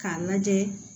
K'a lajɛ